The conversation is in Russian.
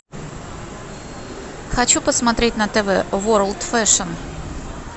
хочу посмотреть на тв ворлд фэшн